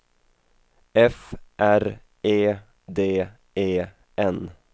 F R E D E N